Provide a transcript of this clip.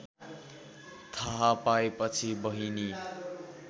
थाहा पाएपछि बहिनी